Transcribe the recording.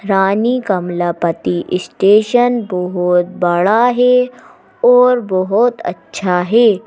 रानी Kamlapati station बहुत बड़ा है और बहुत अच्छा है।